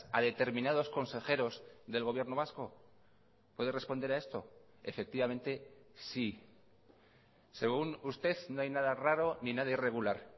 a determinados consejeros del gobierno vasco puede responder a esto efectivamente sí según usted no hay nada raro ni nada irregular